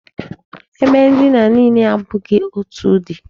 Ebe ndina niile abụghị otu ụdị.